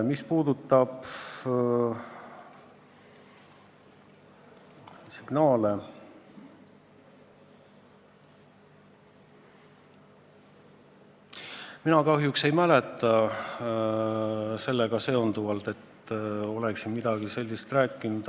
Mis puutub signaalidesse, siis mina kahjuks ei mäleta, et ma oleksin midagi sellist rääkinud.